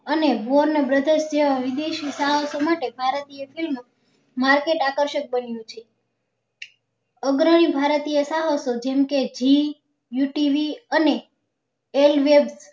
અને વિદેશી ચાહકો માટે ભારતીય ખેલો market આકર્ષક બન્યું છે અગ્રણી ભારતીય ચાહકો જેમ ક zee you tv અને elbe